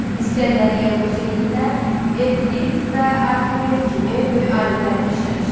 İsgəndəriyyə Museyində Evklit və Arximed kimi böyük alimlər də işləmişdi.